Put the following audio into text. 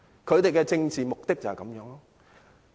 他們的政治目的就是這樣。